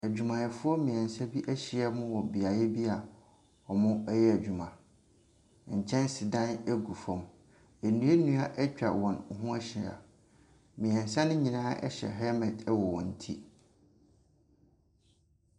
Adwumayɛfoɔ mmiɛnsa bi ahyia mu wɔ beaeɛ bi a wɔyɛ adwuma. Nkyɛnsedan gu fam nnua nnua atwa wɔn ho ahyia. Mmiɛnsa no nyinaa hyɛ helmet wɔ wɔn ti.